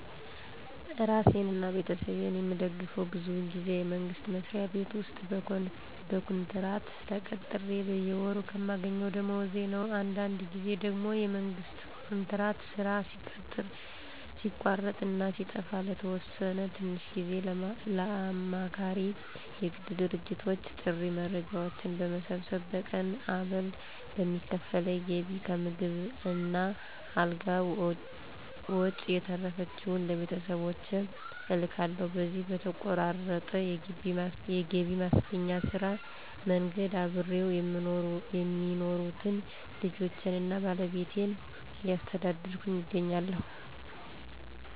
እራሴን አና ቤተሰቤን የምደግፈው ብዙውን ጊዜ የመንግስት መስሪያ ቤት ውስጥ በኮንትራት ተቀጥሬ በየወሩ ከማገኘው ደሞወዝ ነው። አንዳንድ ጊዜ ደግሞ የመንግስት ኮንትራት ሥራ ሲቋረጥ እና ሲጠፋ ለተወሰነ ትንሽ ጊዜ ለአማካሪ የግል ድርጅቶች ጥሬ መረጃዎችን በመሰብሰብ በቀን አበል በሚከፍሉኝ ገቢ ከምግብ እና አልጋ ወጭ የተረፈችውን ለቤተሰቦቼ እልካለሁ። በዚሁ በተቆራረጠ የገቢ ማስገኛ ስራ መንገድ አብረው የሚኖሩትን ልጆቼን አና ባለቤቴን እያስተዳደርኩ እገኛለሁ።